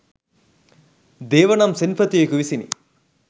දේව නම් සෙන්පතියෙකු විසිනි